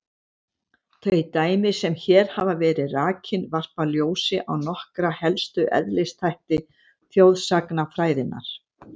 Þau dæmi sem hér hafa verið rakin varpa ljósi á nokkra helstu eðlisþætti þjóðsagnafræðinnar.